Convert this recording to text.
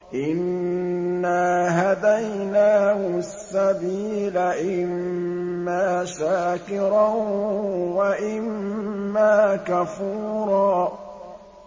إِنَّا هَدَيْنَاهُ السَّبِيلَ إِمَّا شَاكِرًا وَإِمَّا كَفُورًا